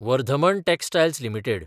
Vardhman textiles limited